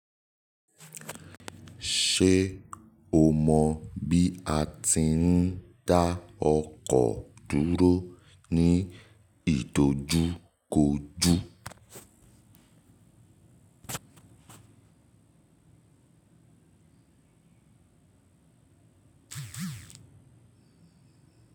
Ṣé o mọ bí a ti ń dá ọkọ̀ dúró ní ìtojú kojú?